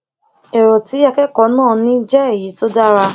èrò tí akẹkọọ náà ní jẹ èyí tó dára